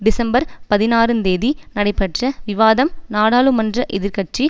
December பதினாறுந் தேதி நடைபெற்ற விவாதம் நாடாளுமன்ற எதிர்கட்சி